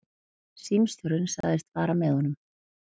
Símstjórinn sagðist fara með honum.